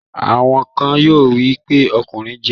Àwọn kan yóò wí pé 'ọkùnrin jẹ